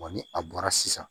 ni a bɔra sisan